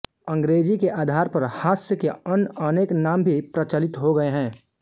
अंग्रेजी के आधार पर हास्य के अन्य अनेक नाम भी प्रचलित हो गए हैं